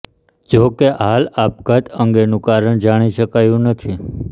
જો કે હાલ આપઘાત અંગેનું કારણ જાણી શકાયું નથી